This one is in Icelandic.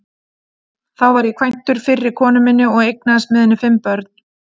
Þá var ég kvæntur fyrri konu minni og eignaðist með henni fimm börn.